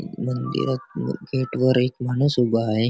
मंदिरात गेट वर एक माणूस उभा आहे.